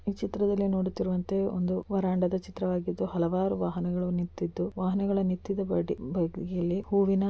ಚಿತ್ರದಲ್ಲಿ ನೋಡುತ್ತಿರುವಂತೆ ಒಂದು ವರಂಡದ ಚಿತ್ರವಾಗಿದ್ದು ಹಲವಾರು ವಾಹನಗಳು ನಿಂತಿದ್ದು ವಾಹನಗಳು ನಿಂತಿದ್ದ ಬದಿಯಲ್ಲಿ ಹೂವಿನ--